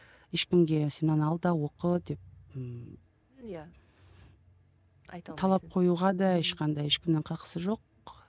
ешкімге сен мынаны ал да оқы деп ыыы талап коюға да ешқандай ешкімнің қақысы жоқ